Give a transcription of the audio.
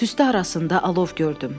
Tüstü arasında alov gördüm.